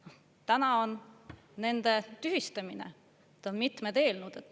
Täna on nende tühistamine, on mitmed eelnõud.